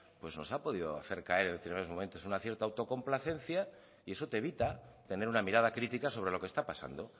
pues nos ha podido hacer caer en determinados momentos una cierta autocomplacencia y eso te evita tener una mirada crítica sobre lo que está pasando